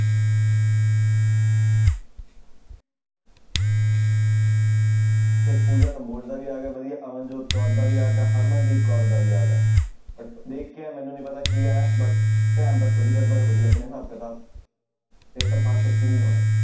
ਫਿਰ ਪੂਜਾ ਕੰਬੋਜ ਦਾ ਵੀ ਆ ਗਿਆ ਵਧੀਆ ਅਵਨ ਜੋਤ ਕੌਰ ਦਾ ਵੀ ਆ ਗਿਆ, ਹਰਮਨਦੀਪ ਕੌਰ ਦਾ ਵੀ ਆ ਗਿਆ but ਦੇਖ ਕੇ ਇਹ ਮੈਨੂੰ ਨੀ ਪਤਾ ਕੀ ਆਇਆ but ਧਿਆਨ ਰੱਖੋ ਜੀ ਗੜਬੜ ਹੋ ਰਹੀ ਆਪਣੇ ਹਿਸਾਬ ਕਿਤਾਬ ਪੇਪਰ ਪਾਸ ਸੱਚੀ ਨੀ ਹੋਣੇ।